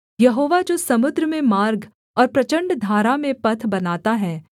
यहोवा जो समुद्र में मार्ग और प्रचण्ड धारा में पथ बनाता है